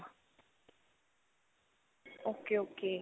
okay okay.